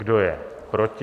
Kdo je proti?